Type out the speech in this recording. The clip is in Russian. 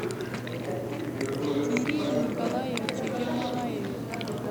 кирилле николаевиче ермолаеве